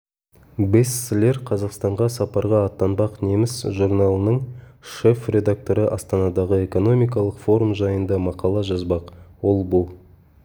бесслер қазақстанға сапарға аттанбақ неміс журналының шеф-редакторы астанадағы экономикалық форум жайында мақала жазбақ ол бұл